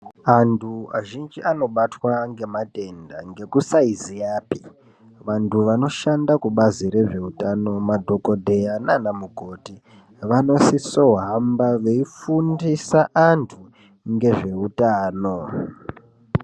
Antu azhinji anobatwa ngematenda ngekussiziyapi. Vantu vanoshanda kubazi rezveutano madhogodheya naana mukoti vanosiso hamba veifundisa antu ngezveutano.